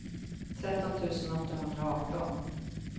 tretton tusen åttahundraarton